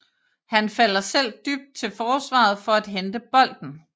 Han falder selv dybt til forsvaret for at hente bolden